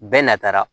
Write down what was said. Bɛɛ n'a taara